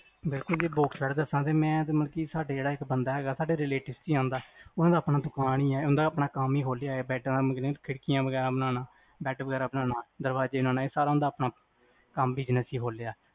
ਬਿਲਕੁਲ ਜੀ box bed ਦਸਾ ਤੇ ਮੈਂ ਤੇ ਮਤਲਬ ਕ ਸਾਡੇ ਜਿਹੜਾ ਬੰਦਾ ਹੈਗਾ ਸਾਡੇ relatives ਚ ਆਓਂਦਾ, ਉਹਨਾਂ ਦਾ ਆਪਣਾ ਦੁਕਾਨ ਈ ਆ ਓਹਨਾ ਦਾ ਕੰਮ ਈ ਆਪਣਾ ਖੋਲਿਆ ਏ ਬੈੱਡ ਆ ਦਾ ਮਤਲਬ ਕ ਖਿੜਕੀਆਂ ਵਗੈਰਾ ਬਣਾਉਣਾ ਬੈਡ ਵਗੈਰਾ ਬਣਾਉਣਾ ਦਰਵਾਜ਼ੇ ਬਣਾਉਣਾ ਇਹ ਸਾਰਾ ਉਹਨਾਂ ਨੇ ਆਪਣਾ business ਈ ਖੋਲਿਆ